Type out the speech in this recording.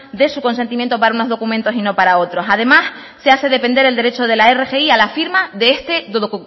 de su consentimiento para unos documentos y no para otros además se hace depender el derecho de la rgi a la firma de este